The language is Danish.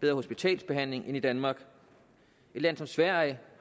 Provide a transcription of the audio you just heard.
bedre hospitalsbehandling end danmark et land som sverige